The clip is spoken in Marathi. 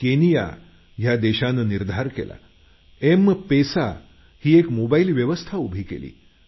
केनिया या देशानं निरधार केला एमपेसा ही एक मोबाईल व्यवस्था उभी केली